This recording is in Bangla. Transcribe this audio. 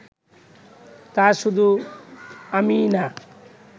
তা শুধু আমি না